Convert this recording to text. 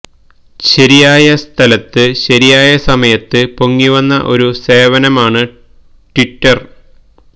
ശരിയായ സ്ഥലത്ത് ശരിയായ സമയത്ത് പൊങ്ങി വന്ന ഒരു സേവനമമാണ് ട്വിറ്റര്